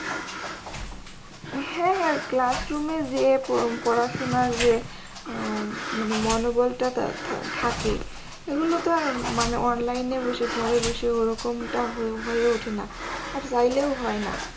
হ্যাঁ হ্যাঁ classroom যে পড়াশোনার যে মানে মনোবল টা থাকে এগুলো তো মানে online এ বসে ঘরে বসে ওরকম টা হয়ে ওঠেনা আর চাইলেও হয়না।